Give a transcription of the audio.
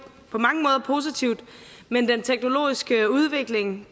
på mange måder positivt men den teknologiske udvikling